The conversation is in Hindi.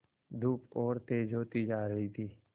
धूप और तेज होती जा रही थी